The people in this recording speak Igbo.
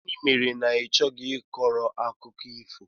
Gịnị mere ị chọghị ị kọrọ akụkọ ifo?